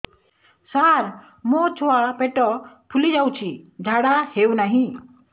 ସାର ମୋ ଛୁଆ ପେଟ ଫୁଲି ଯାଉଛି ଝାଡ଼ା ହେଉନାହିଁ